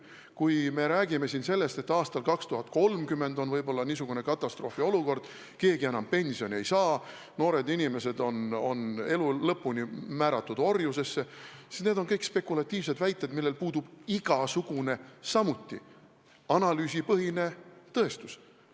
Kui me räägime siin sellest, et aastal 2030 on võib-olla niisugune katastroofiolukord, et keegi enam pensioni ei saa, noored inimesed on elu lõpuni määratud orjusesse, siis need on kõik spekulatiivsed väited, millel puudub samuti igasugune analüüsipõhine tõestus.